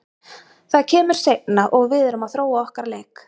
Það kemur seinna og við erum að þróa okkar leik.